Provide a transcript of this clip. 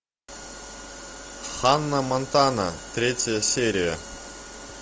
ханна монтана третья серия